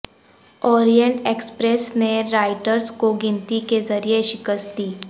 Orient Express نے رائٹرز کو گنتی کے ذریعے شکست دی